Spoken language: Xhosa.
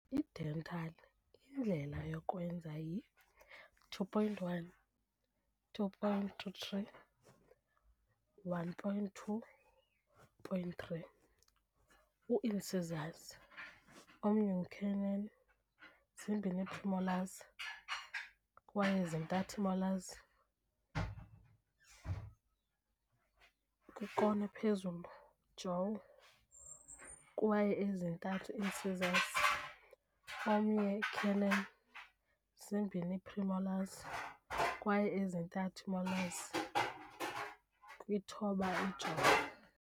I - dental indlela yokwenza yi 2.1.2.33.1.2.3 u - incisors, omnye canine, zimbini premolars, kwaye ezintathu molars kwikona ephezulu jaw, kwaye ezintathu incisors, omnye canine, zimbini premolars, kwaye ezintathu molars kwi-thoba.